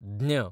ज्ञ